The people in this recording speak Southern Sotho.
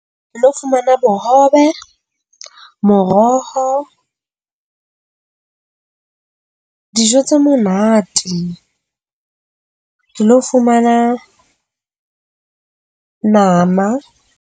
Ke lo fumana bohobe, moroho, dijo tse monate ke lo fumana nama.